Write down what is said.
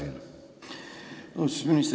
Austatud minister!